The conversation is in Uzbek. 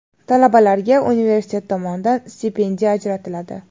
Talabalarga universitet tomonidan stipendiya ajratiladi.